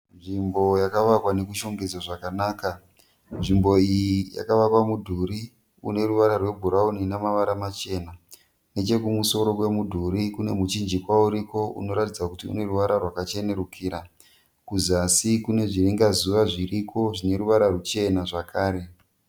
Nzvimbo iyi yakavakwa nokushongedzwa zvakanaka. Nzvimbo iyi yakavakwa mudhuri une ruvara rwebhurauni ina mavara machena. Nechekumusoro kwemudhuri kune muchingwa uriko unoratidza kuti une ruvara rwakachenerukira. Kuzasi kune zviringa zuva zviriko zvine ruvara ruchena zvakare.